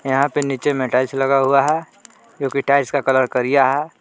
यहां पे नीचे में टाइल्स लगा हुआ है जोकि टाइल्स का कलर करिया है।